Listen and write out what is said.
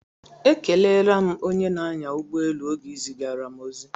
Ekelela m onye na-anya ụgbọ elu oge ị zigara m ozi